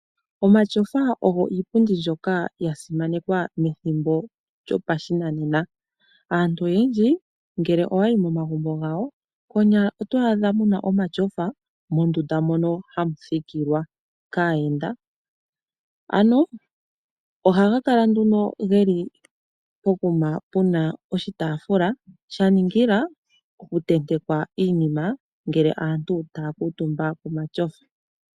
Omatyofa ogo iipundi mbyoka yasimanekwa methimbo lyopashinanena. Aantu oyendji ngele owayi momagumbo gawo konyala otwaadha muna omatyofa mondunda ndjono hayi thikilwa kaayenda. Ohaga kala pokuma puna okataafula ko okutenteka iinima uuna aantu taya kuutumba komatyofa.